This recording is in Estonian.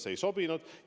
See ei sobinud.